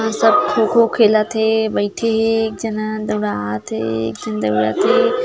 ए सब खोखो खेलत हे बइठे हे एक झन ह दौड़ात हे एक झन ह दौड़त हे।